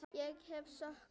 Ég hef skoðun.